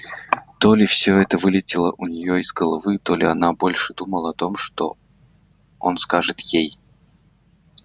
то ли всё это вылетело у неё из головы то ли она больше думала о том что он скажет ей